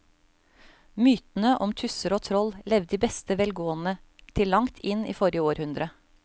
Mytene om tusser og troll levde i beste velgående til langt inn i forrige århundre.